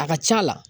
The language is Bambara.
A ka c'a la